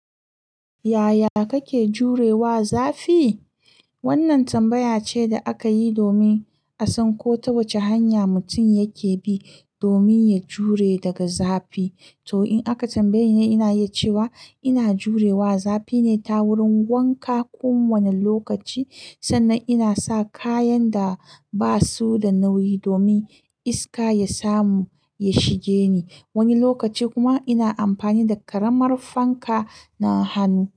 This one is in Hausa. Yaya kake jure wa zafi? Wannan tambaya ce da aka yi domin a san ko ta wace hanya mutum yake bi domin ya jure daga zafi. To in aka tambaye ni, ina iya cewa ina jure wa zafi ne ta wurin wanka kowane lokaci sannan inasa kayan da basuda nauyi domin iska ya samu ya shige ni. Wani lokaci kuma ina amfani da ƙaramar fanka na hannu.